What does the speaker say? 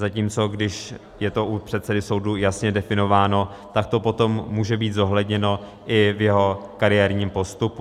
Zatímco když je to u předsedy soudu jasně definováno, tak to potom může být zohledněno i v jeho kariérním postupu.